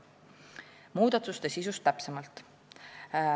Nüüd muudatuste sisust täpsemalt.